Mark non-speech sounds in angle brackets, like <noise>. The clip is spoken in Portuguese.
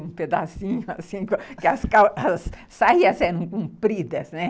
Um pedacinho assim, <laughs> que as saias eram compridas, né?